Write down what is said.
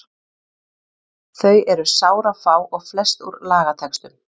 Þau eru sárafá og flest úr lagatextum.